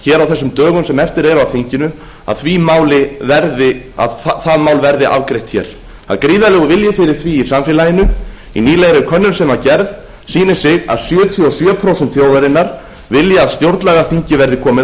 hér á þessum dögum sem eftir eru af þinginu að það mál verði afgreitt hér það er gríðarlegur vilji fyrir því í samfélaginu í nýlegri könnun sem var gerð sýnir sig að sjötíu og sjö prósent þjóðarinnar vilja að stjórnlagaþingi verði komið